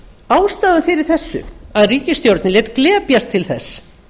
ástæðan fyrir því að ríkisstjórnin lét glepjast til þess